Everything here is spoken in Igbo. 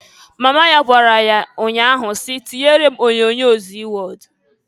Mama ya gwara ya nnya ahụ si, "Tinyere m onyoonyo Zii Wọd!"